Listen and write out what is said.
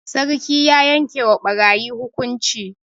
Sarki ya yanke wa ɓarayi hukunci.